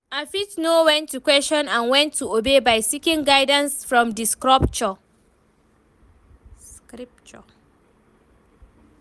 I fit know when to question and when to obey by seeking guidance from di scripture.